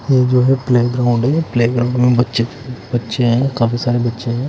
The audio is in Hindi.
ये जो है प्ले ग्राउंड है प्ले ग्राउंड में बच्चे-बच्चे हैं काफी सारे बच्चे हैं--